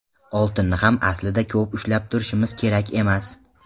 Oltinni ham aslida ko‘p ushlab turishimiz kerak emas.